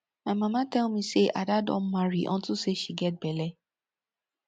my mama tell me say ada don marry unto say she get bele